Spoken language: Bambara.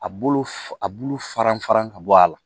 A bulu a bulu farinfarin ka bɔ a la